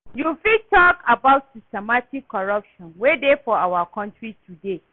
you fit talk about systemic corruption wey dey for our country today?